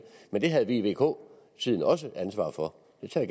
men det havde vi i vk tiden også et ansvar for det tager